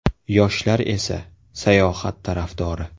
Yoshlar esa, sayohat tarafdori.